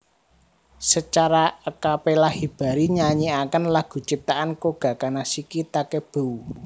Secara a capella Hibari nyanyiaken lagu ciptaan Koga Kanashiki Takebue